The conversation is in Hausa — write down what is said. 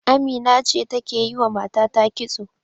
Amina ce take yiwa matata kitso.